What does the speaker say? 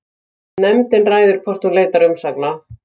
Nefndin ræður hvort hún leitar umsagna